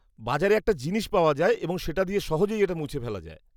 -বাজারে একটা জিনিস পাওয়া যায় এবং সেটা দিয়ে সহজেই এটা মুছে ফেলা যায়।